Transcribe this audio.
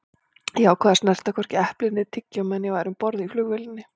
Ég ákvað að snerta hvorki epli né tyggjó meðan ég væri um borð í flugvélinni.